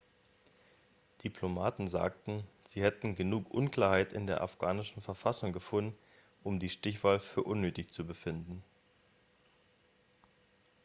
diplomaten sagten sie hätten genug unklarheit in der afghanischen verfassung gefunden um die stichwahl für unnötig zu befinden